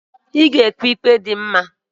Ị ga-ekpe ike nye onye ọrụ ugbo na-akọ ihe.